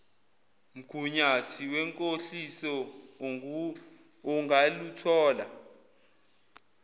mgunyathi wenkohliso ungaluthola